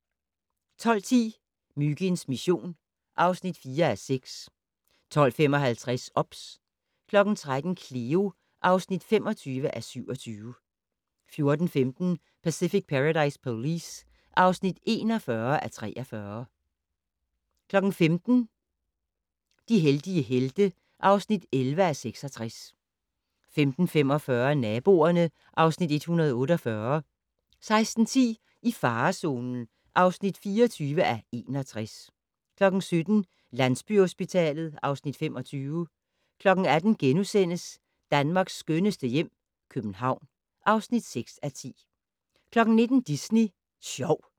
12:10: Myginds mission (4:6) 12:55: OBS 13:00: Cleo (25:27) 14:15: Pacific Paradise Police (41:43) 15:00: De heldige helte (11:66) 15:45: Naboerne (Afs. 148) 16:10: I farezonen (24:61) 17:00: Landsbyhospitalet (Afs. 25) 18:00: Danmarks skønneste hjem - København (6:10)* 19:00: Disney Sjov